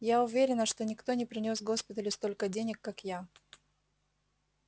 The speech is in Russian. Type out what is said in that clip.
я уверена что никто не принёс госпиталю столько денег как я